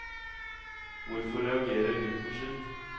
Hvorfor reagerer gutten slik?